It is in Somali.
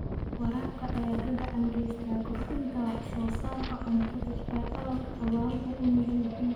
Waraabka ayaa gacan ka geysta kordhinta wax soo saarka cuntada ee dalalka abaaruhu u nugul yihiin.